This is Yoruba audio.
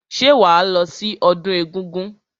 Ṣé wàá lọ sí ọdún egúngún?